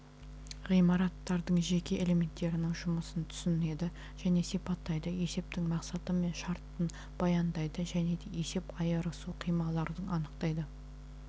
ғиматтардың жеке элементтерінің жұмысын түсінеді және сипаттайды есептің мақсаты мен шартын баяндайды және де есеп айырысу қималардың анықтайды